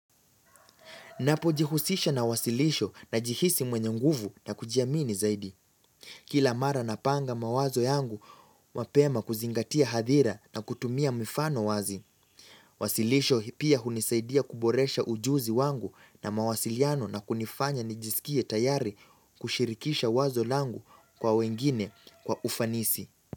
Napojihusisha na wasilisho najihisi mwenye nguvu na kujiamini zaidi. Kila mara na panga mawazo yangu mapema kuzingatia hadhira na kutumia mifano wazi. Wasilisho pia hunisaidia kuboresha ujuzi wangu na mawasiliano na kunifanya nijisikie tayari kushirikisha wazo langu kwa wengine kwa ufanisi.